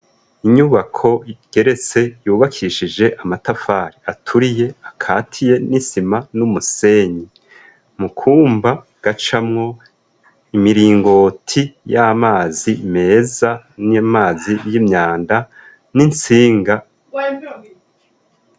Inyubako igeretse yubakishije amatafari aturiye akatiye n'isima n'umusenyi mukwumba gacamwo imiringoti y'amazi meza n'amazi y'imyanda n'insinga.